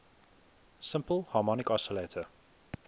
simple harmonic oscillator